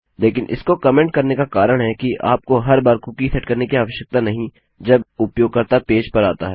लेकिन इसको कमेन्ट करने का कारण है कि आपको हर बार कुकी सेट करने की आवश्यकता नहीं जब उपयोगकर्ता पेज पर आता है